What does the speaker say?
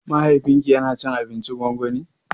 Mahaifin ki yana cin abincin gwangwani?